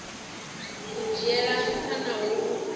u dzhiela nṱha na u